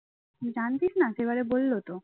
জানতিস না সেবারে বলল তো